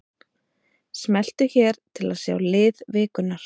Smelltu hér til að sjá lið vikunnar